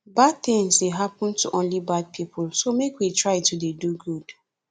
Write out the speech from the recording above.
bad things dey happen to only bad people so make we try to dey do good